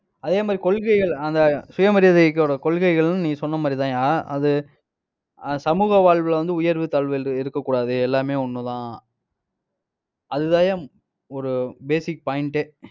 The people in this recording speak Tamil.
அதே மாதிரி கொள்கைகள், அந்த சுயமரியாதையோட கொள்கைகளும், நீங்க சொன்ன மாதிரிதான்யா. அது அஹ் சமூக வாழ்வுல வந்து உயர்வு தாழ்வு இருக்கக் கூடாது. எல்லாமே ஒண்ணுதான். அதுதான்யா ஒரு basic point ஏ